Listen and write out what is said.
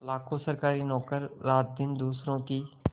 लाखों सरकारी नौकर रातदिन दूसरों का